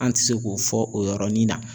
An ti se k'o fɔ o yɔrɔnin na.